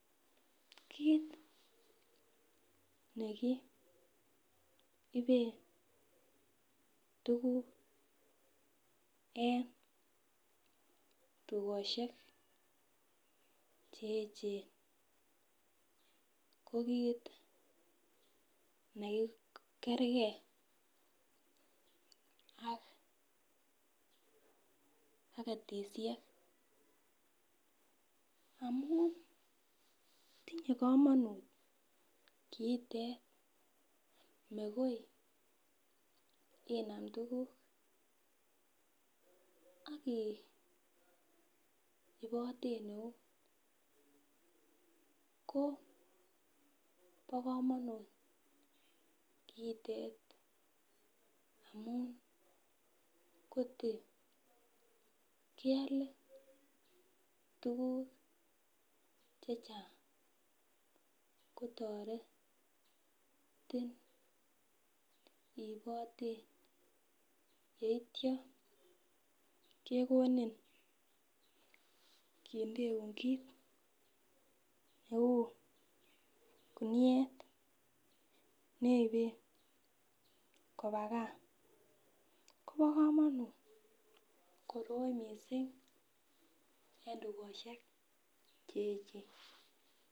Kit nekiiben tuguk en tugosiek che echen ko kit nekerkei ak ketisiek ,amun tinye kamonut kiitet, makoi inam tuguk akiiboten eut ko bokomonut kiitet amun koto keale tuguk chechang kotoretin iiboten yeitya kekonin kindeun kit neu kuniet neiben kobaa gaa kobokomonut koroi missing en tugosiek che echen.